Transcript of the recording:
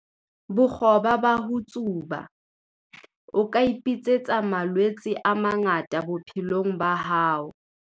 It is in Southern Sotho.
Bokgoba ba ho tsuba- O ka ipitsetsa malwetse a mangata bophelong ba hao.